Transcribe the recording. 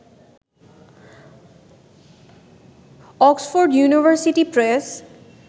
Oxford university press